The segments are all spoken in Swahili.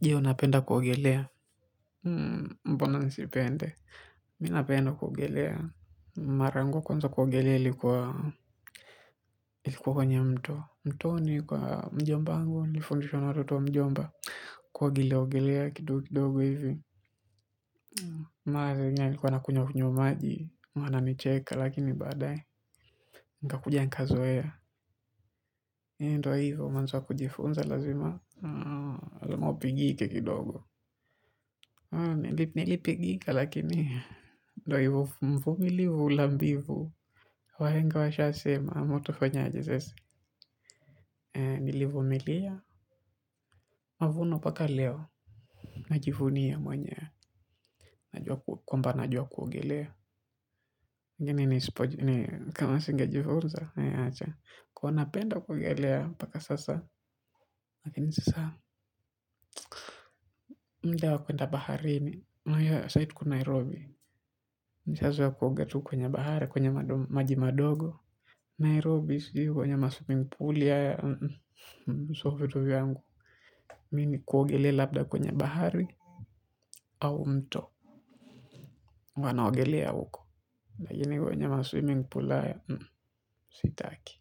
Ndio napenda kuogeleambona nisipende? Napenda kuogelea mara yangu ya kwanza kuogelea ilikuwa huko kwenye mto mtoni kwa mjomba wangu nilifundishwa na watoto wa mjomba kuogelea ogelea kidogo kidogo hivi maa zinyani kwa nakunya kunyomaji, wanani cheka lakini badai, mkakujia nkazo hea, endo hivyo manzo wa kujifunza lazima, alamopigike kidogo, nilipigika lakini ndo hivu mvumilivu Lambivu Wa henga washa sema ama utafanyaje sese. Nilivumilia. Mavuno paka leo. Najivunia mwenyewe. Kumba najwa kuogelea Gini ni kama singejifunza. Kwa napenda kuogelea. Paka sasa. Lakini sasa. Mdea wa kwenda baharini. Sai tu ko Nairobi. Nishazwa kuongetu kwenye bahari. Kwenye majimadogo Nairobi si kwenye maswimingpuli ya ya So vitu yangu Mini kuogele labda kwenye bahari. Au mto. Wanaogele ya huko lakini kwenye maswimingpuli ya sitaki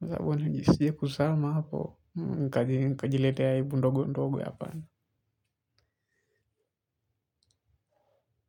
Zabona njisiye kusama hapo. Nkajiletea aibu ndogo ndogo hapana.